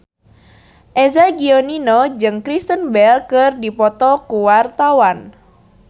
Eza Gionino jeung Kristen Bell keur dipoto ku wartawan